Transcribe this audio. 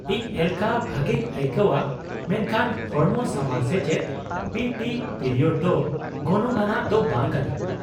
-ᱤᱧ ᱮᱞᱠᱷᱟ ᱵᱷᱟᱜᱮᱧ ᱟᱹᱭᱠᱟᱹᱣᱼᱟ ᱢᱮᱱᱠᱷᱟᱱ ᱦᱚᱲᱢᱚ ᱥᱟᱶᱟᱨ ᱥᱮᱪᱮᱫ (ᱯᱤᱴᱤ) ᱯᱤᱨᱤᱭᱳᱰ ᱫᱚ ᱜᱚᱱᱚᱝ ᱟᱱᱟᱜ ᱫᱚ ᱵᱟᱝ ᱠᱟᱱᱟ ᱾